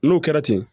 N'o kɛra ten